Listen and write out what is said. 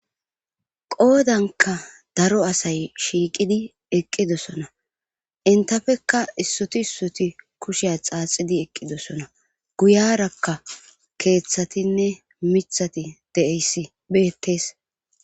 Qoodanka daro asay shiiqidi eqqidosona intafekka issoti issoti kushiya xaaxidi eqqidosona guyarakka keeththatinne mithati deeyssi beettes